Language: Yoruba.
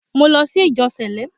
Mo lọ sí ìjọ Sẹ̀lẹ́